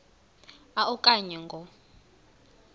a okanye ngo